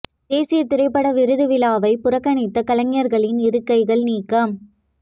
தேசிய திரைப்பட விருது வழங்கும் விழாவை புறக்கணித்த கலைஞர்களின் இருக்கைகள் நீக்கம்